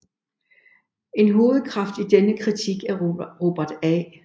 En hovedkraft i denne kritik er Robert A